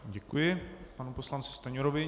Děkuji panu poslanci Stanjurovi.